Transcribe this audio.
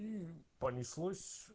и понеслось